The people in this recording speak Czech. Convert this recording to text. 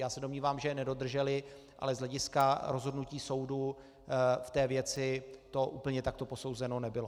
Já se domnívám, že je nedodrželi, ale z hlediska rozhodnutí soudu v té věci to úplně takto posouzeno nebylo.